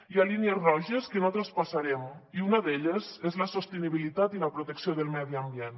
hi ha línies roges que no traspassarem i una d’elles és la sostenibilitat i la protecció del medi ambient